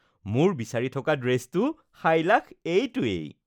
মোৰ বিচাৰি থকা ড্ৰেছটো সাইলাখ এইটোৱেই